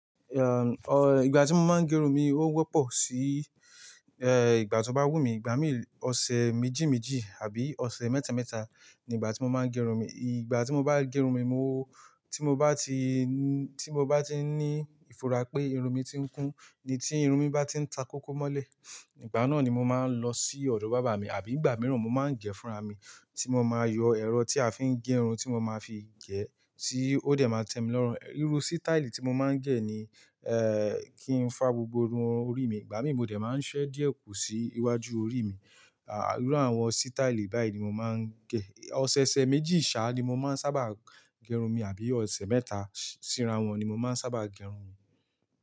Ehn, o, ìgbà tí mo máa ń gẹrun mi ó wọ́pọ̀ sí, eh, ìgbà tí ó bá wù mí. Ìgbà mí, ọ̀sẹ̀ méjì méjì àbí ọ̀sẹ̀ mẹ́ta mẹ́ta ní ìgbà tí mo máa ń gẹrun mi. Ìgbà tí mo bá gẹrun mi, mo-- tí mo bá ti n-- tí mo bá ti ní ìfura pé irun mi ti ń kún ni tí irun mi bá ti ń ta kókó mọ́lẹ̀, ìgbà náà ni mo máa ń lọ sí ọ̀dọ̀ bàbá mi. Àbí ìgbà mìíràn mo máa ń gẹ̀ fúnra mi tí mo máa yọ ẹ̀rọ tí a fi ń gerun tí mo máa fi gẹ̀ tí ó dẹ̀ máa tẹ́mi lọ́run. Irú sítáílì tí mo máa ń gẹ̀ ni, eh, kí ń fá gbogbo irun orí mi. Ìgbà mí mo dẹ̀ máa ń ṣẹ́ díẹ̀ kú sí iwájú orí mi. À, irú àwọn sítáílì báyìí ni mo máa ń gẹ̀. Ọ̀sẹ̀, ọ̀sẹ̀ méjì sá ni mo máa ń sábà gẹrun mi àbí ọ̀sẹ̀ mẹ́ta. Sírà wọn ni mo máa ń sábà gẹrun mi.